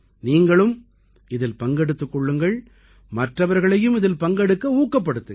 நீங்களும் இதில் பங்கெடுத்துக் கொள்ளுங்கள் மற்றவர்களையும் இதில் பங்கெடுக்க ஊக்கப்படுத்துங்கள்